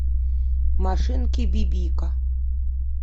машинки бибика